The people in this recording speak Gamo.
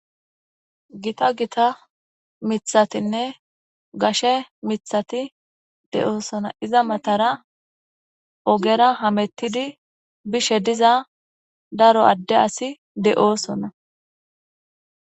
gita gita mithatinne gashe mithati de7oosona iza matara ogera hamettidi bishe diza daro adde asi de7oosona